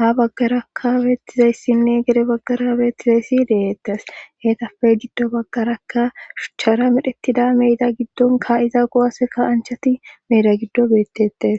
ha baggarakka beettizayssinne gere baggara beettizayssi deettes heetafe giddo baggarakka shuchchara medhettida meeda giddonka iza gowaseka anchati meeda giddo beettettes.